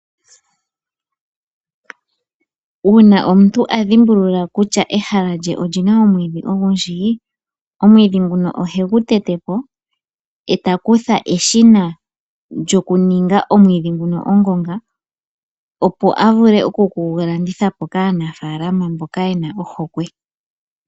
Uuna omuntu adhimbulula kutya ehala lye olyina omwiidhi ogundji, owiidhi nguno ohegu tete po, eta kutha eshina lyokuninga omwiidhi nguno ongonga opo a vule okugu landitha po kaanafaalama mboka ye na ohokwe.